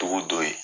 Togo dɔ ye